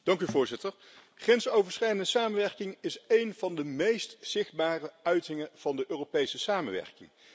Voorzitter, grensoverschrijdende samenwerking is een van de meest zichtbare uitingen van de Europese samenwerking.